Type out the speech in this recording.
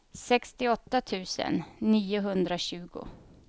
sextioåtta tusen niohundratjugo